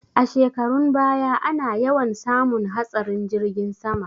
A shekarun baya ana yawan samun hatsarin jirgin sama